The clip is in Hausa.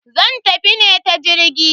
Zan tafi ne ta jirgi.